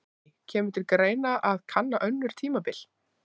Guðný: Kemur til greina að kanna önnur tímabil?